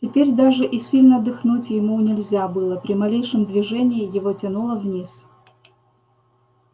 теперь даже и сильно дыхнуть ему нельзя было при малейшем движении его тянуло вниз